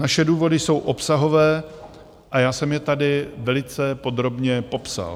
Naše důvody jsou obsahové a já jsem je tady velice podrobně popsal.